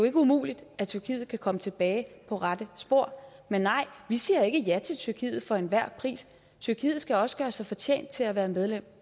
ikke umuligt at tyrkiet kan komme tilbage på rette spor men nej vi siger ikke ja til tyrkiet for enhver pris tyrkiet skal også gøre sig fortjent til at være medlem